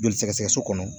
Joli sɛgɛsɛgɛ so kɔnɔ